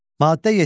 Maddə 7.